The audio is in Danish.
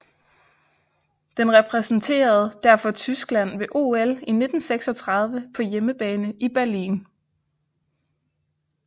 Den repræsenterede derfor Tyskland ved OL 1936 på hjemmebane i Berlin